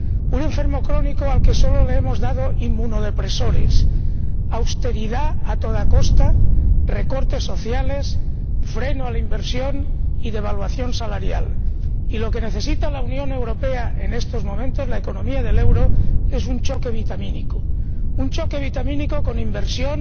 Un enfermo crónico al que solo le hemos dado inmunodepresores —austeridad a toda costa, recortes sociales, freno a la inversión y devaluación salarial— y lo que necesita en estos momentos la Unión Europea —la economía del euro— es un choque vitamínico, un choque vitamínico con inversión,